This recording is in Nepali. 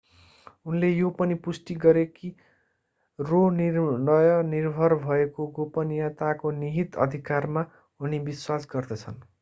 उनले यो पनि पुष्टि गरे कि रो निर्णय निर्भर भएको गोपनीयताको निहित अधिकारमा उनी विश्वास गर्दछन्